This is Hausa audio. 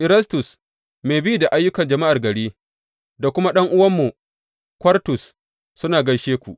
Erastus, mai bi da ayyukan jama’ar gari, da kuma ɗan’uwanmu Kwartus, suna gaishe ku.